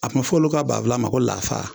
A tun bɛ fɔ olu ka banfula ma ko lafa